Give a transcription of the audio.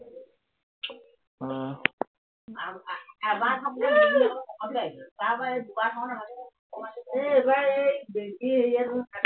আহ